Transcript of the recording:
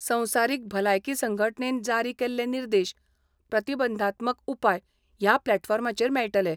संवसारीक भलायकी संघटनेन जारी केल्ले निर्देश, प्रतिबंधात्मक उपाय ह्या प्लॅटफोर्माचेर मेळटले.